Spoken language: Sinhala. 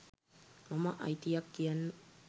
මම අයිතියක් කියන්න